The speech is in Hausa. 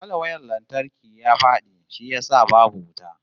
Falwayar lantarki ya fadi shi yasa babu wuta